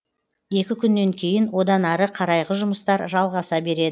екі күннен кейін одан ары қарайғы жұмыстар жалғаса береді